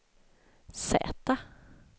Z